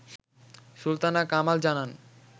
সুলতানা কামাল জানান